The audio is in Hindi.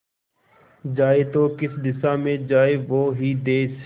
जाए तो किस दिशा में जाए वो ही देस